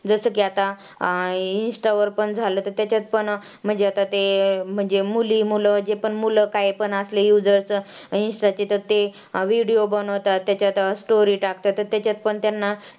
जसं की आता अं insta वर पण झालं तर त्याच्यात पण म्हणजे आता ते म्हणजे मुली-मुलं जे पण मुलं कायपण असले insta चे तर ते video बनवतात त्याच्यात story टाकतात तर त्याच्यात पण त्यांना